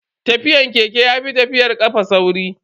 Tafiyan keke yafi tafiyar kafa sauri.